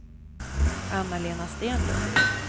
Anna-Lena Stenlund